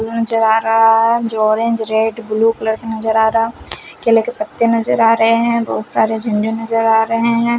नज़र आ रहा है जो ऑरेंज रेड ब्लू कलर का नज़र आ रहा केले के पत्ते नज़र आ रहे हैं बहुत सारे झंडे नज़र आ रहे हैं।